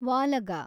ವಾಲಗ